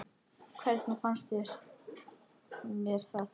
Hvernig fannst mér það?